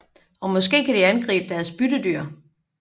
Og måske kan de aktivt angribe deres byttedyr